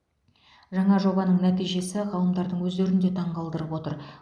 жаңа жобаның нәтижесі ғалымдардың өздерін де таңғалдырып отыр